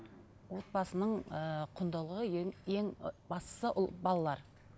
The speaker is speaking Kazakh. отбасының ыыы құндылығы ең ең ы бастысы ол балалар